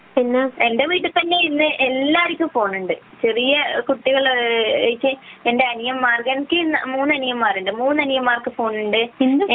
എന്റെ വീട്ടിൽ തന്നെ ഇന്ന് എല്ലാര്ക്കും ഫോണുണ്ട്. ചെറിയ കുട്ടികൾ ഒഴിച്ച് എന്റെ അനിയന്മാർ എനിക്ക് മൂന്നു അനിയന്മാർ ഉണ്ട് മൂന്നു അനിയന്മാർക്കും ഫോണുണ്ട്